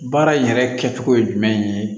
Baara yɛrɛ kɛcogo ye jumɛn ye